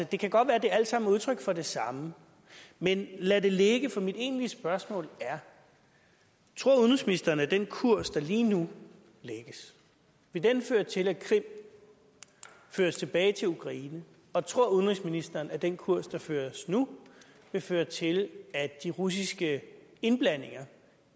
det kan godt være det alt sammen er udtryk for det samme men lad det ligge for mit egentlige spørgsmål er tror udenrigsministeren at den kurs der lige nu lægges vil føre til at krim føres tilbage til ukraine og tror udenrigsministeren at den kurs der føres nu vil føre til at de russiske indblandinger